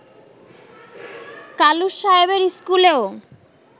কালুস সাহেবের স্কুলেও